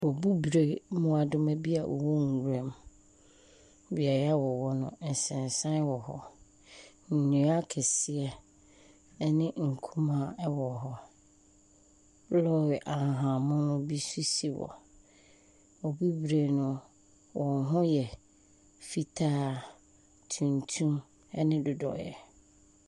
mmoadoma bi a wɔwɔ nwiram. Beaeɛ a wɔwɔ no, nsensan wɔ hɔ. Nnua akɛseɛ ne kumaa wɔ hɔ. Lɔɔre ahahammono bi nso si hɔ. . Wɔn ho yɛ fitaa, tuntum, ne dodoeɛ.